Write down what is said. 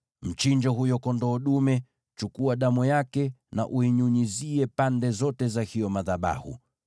Mchinje huyo kondoo dume, chukua damu yake na uinyunyize pande zote za hayo madhabahu.